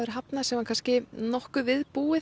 hafnað sem var nokkuð við búið